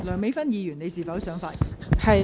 梁美芬議員，你是否想發言？